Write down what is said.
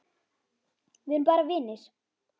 Við erum bara vinir.